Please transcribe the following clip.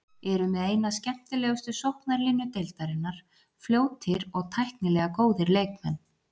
Eru með eina skemmtilegustu sóknarlínu deildarinnar, fljótir og tæknilega góðir leikmenn.